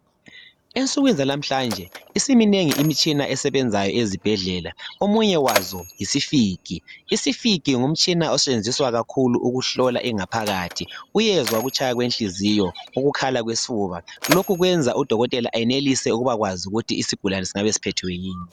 Ensukwini zalamhlanje isiminengi imitshina esebenzayo ezibhedlela omunye wazo yisifigi. Isifigi ngumtshina osebenziswa kakhulu ukuhlola ingaphakathi uyezwa ukutshaya kwenhliziyo ukukhala kwesifuba lokhu kwenza udokotela enelise ukwazi ukuthi isigulane singabe siphethwe yini.